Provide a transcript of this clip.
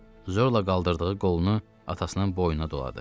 Zorla qaldırdığı qolunu atasının boynuna doladı.